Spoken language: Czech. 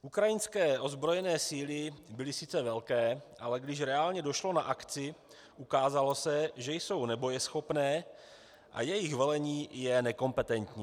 Ukrajinské ozbrojené síly byly sice velké, ale když reálně došlo na akci, ukázalo se, že jsou nebojeschopné a jejich velení je nekompetentní.